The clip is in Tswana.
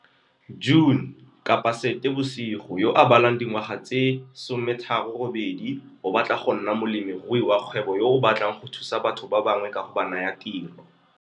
June, yo a balang dingwaga tse 38, o batla go nna molemirui wa kgwebo yo o batlang go thusa batho ba bangwe ka go ba naya tiro.